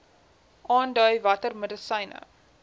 aandui watter medisyne